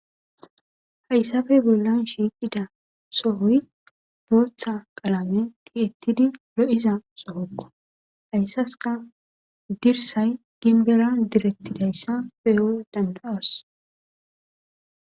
Hayssafey bollan shiiqida sohoy booththa qalame tiettidi lo'iza sohokko hayssaska dirsay ginbelan direttidayssa peyo dandawas.